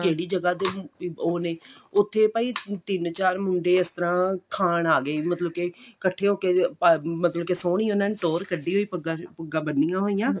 ਕਿਹੜੀ ਜਗ੍ਹਾ ਦੇ ਨੇ ਉਹ ਨੇ ਉੱਥੇ ਭਾਈ ਤਿੰਨ ਚਾਰ ਮੁੰਡੇ ਇਸ ਤਰ੍ਹਾਂ ਖਾਨ ਆ ਗਏ ਵੀ ਮਤਲਬ ਕੇ ਇੱਕਠੇ ਹੋ ਕੇ ਮਤਲਬ ਕਿ ਸੋਹਣੀ ਉਹਨਾ ਨੇ ਟੋਹਰ ਕੱਢੀ ਹੋਈ ਪੱਗਾਂ ਬੰਨੀਆ ਹੋਈਆਂ